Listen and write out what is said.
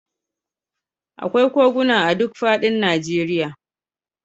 Akwai koguna a duk fadin Najeriya.